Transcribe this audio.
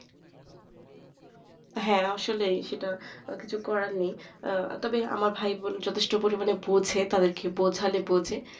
হ্যাঁ আসলে সেটাই কিছুই করার নেই আহ তবে আমার ভাই বোন যথেষ্ট পরিমাণে বোঝে তাঁদেরকে বোঝালে বোঝে